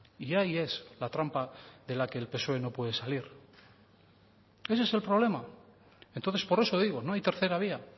y ahí es la trampa de la que el psoe no puede salir ese es el problema entonces por eso digo no hay tercera vía